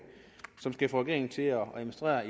som skal få regeringen til at administrere